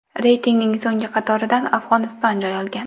Reytingning so‘nggi qatoridan Afg‘oniston joy olgan.